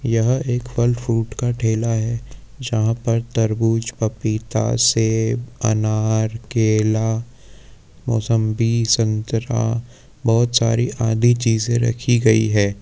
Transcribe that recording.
यहाँ एक फल फ्रूट का ठेला है यहाँ पर तरबूज पपीता अनार केला मौसंबी संतरा बहुत सारी आदि चीजे रखी गई है।